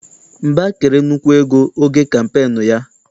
Mba kere nnukwu ego oge kampeenu ya.